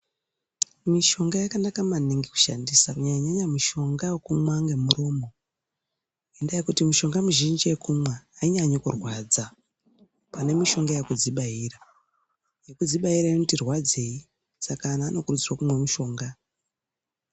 Mushonga yakanaka maningi kushandisa, kunyanya-nyanya mishonga yekumwa nemuromo, ngendaa yekuti mishonga yekumwa, ainyanyi kurwadza, pane mishonga yekudzibaira. Yekudzibaira inoti rwadzei, saka anhu anokurudzirwe kumwe mishonga.